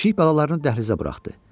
Pişik balalarını dəhlizə buraxdı.